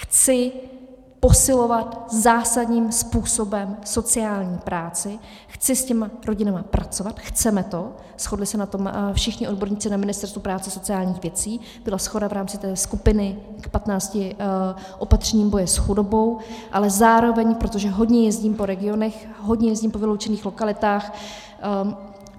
Chci posilovat zásadním způsobem sociální práci, chci s těmi rodinami pracovat, chceme to - shodli se na tom všichni odborníci na Ministerstvu práce a sociálních věcí, byla shoda v rámci té skupiny k 15 opatřením boje s chudobou, ale zároveň protože hodně jezdím po regionech, hodně jezdím po vyloučených lokalitách...